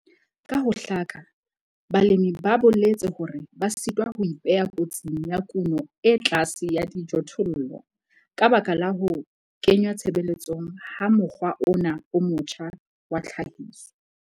Ka ho hlaka balemi ba boletse hore ba sitwa ho ipeha kotsing ya kuno e tlase ya dijothollo ka baka la ho kengwa tshebetsong ha mokgwa ona o motjha wa tlhahiso.